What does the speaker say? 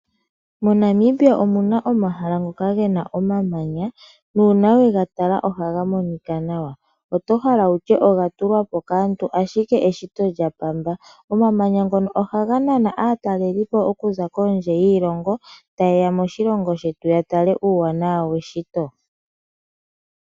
MoNamibia omu na omahala ngoka gena omamanya. Uuna we ga tala ohaga monika nawa. Oto hala wutye oga tulwa po kaantu ashike eshito lyaKalunga. Omamanya ohaga nana aatalelipo okuza kondje yoshilongo taye ya moshilongo shetu ya tale uuwanawa weshito.